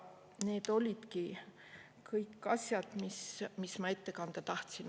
Need olidki kõik need asjad, mis ma ette kanda tahtsin.